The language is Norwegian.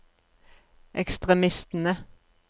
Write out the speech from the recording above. ekstremistene